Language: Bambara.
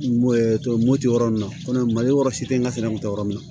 moto yɔrɔ nin na kɔmi mali yɔrɔ si tɛ nka sɛnɛ kun tɛ yɔrɔ min na